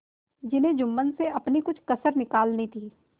जिन्हें जुम्मन से अपनी कुछ कसर निकालनी थी